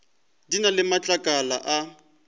di na le matlakala a